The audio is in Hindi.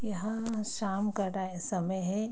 यहाँ शाम का टाइ समय है।